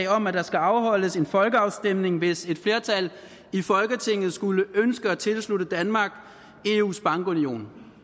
om at der skal afholdes en folkeafstemning hvis et flertal i folketinget skulle ønske at tilslutte danmark eus bankunion